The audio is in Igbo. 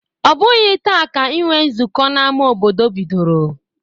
Ọ bụghị taa ka inwe nzukọ n'ama obodo bidoro.